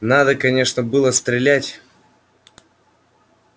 надо конечно было стрелять